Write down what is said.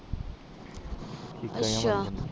ਅੱਛਾ